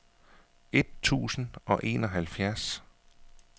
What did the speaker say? et tusind og enoghalvfjerds